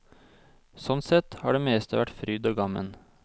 Sånn sett har det meste vært fryd og gammen.